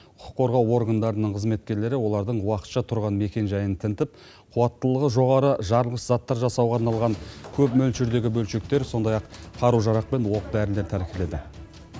құқық қорғау органдарының қызметкерлері олардың уақытша тұрған мекен жайын тінтіп қуаттылығы жоғары жарылғыш заттар жасауға арналған көп мөлшердегі бөлшектер сондай ақ қару жарақ пен оқ дәрілер тәркіледі